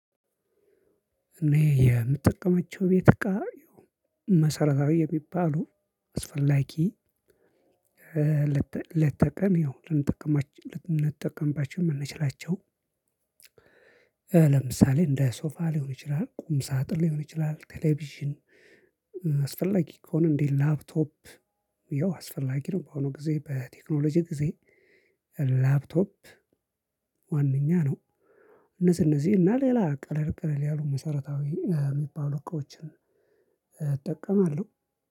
እኔ የምጠቀማቸው ቤት እቃ መሰረታዊ የሚባሉ አስፈላጊ ሌትተቀን ያው ልንጠቀማች ልንጠቀምባቸው የምንችላቸው። ለምሳሌ እንደ ሶፋ ሊሆን ይችላል ቁም ሳጥን ሊሆን ይችላል ቴሌቪዥን። አስፈላጊ ከሆነ እንዴ ላፕቶፕ ያው አስፈላጊ ነው ባሁኑ ጊዜ በቴክኖሎጂ ጊዜ። ላፕቶፕ ዋነኛ ነው። እነዚህ እነዚህ እና ሌላ ቀለል ቀለል ያሉ መሰረታዊ የሚባሉ እቃዎችን። እጠቀማለሁ።